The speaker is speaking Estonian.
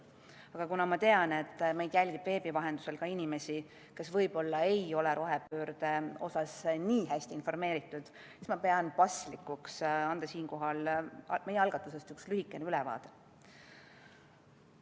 Aga kuna ma tean, et meid jälgib veebi vahendusel ka inimesi, kes võib-olla ei ole rohepöördest nii hästi informeeritud, siis ma pean paslikuks anda siinkohal meie algatusest üks lühikene ülevaade.